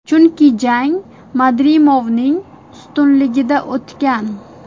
Chunki jang Madrimovning ustunligida o‘tgan.